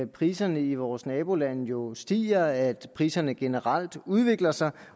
priserne i vores nabolande jo stiger at priserne generelt udvikler sig